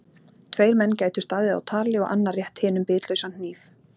Tveir menn gætu staðið á tali og annar rétt hinum bitlausan hníf.